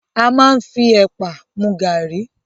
A máa n fí ẹ̀pà mú garri